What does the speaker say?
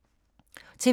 TV 2